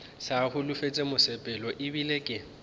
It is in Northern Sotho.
sa holofetše mosepelo ebile ke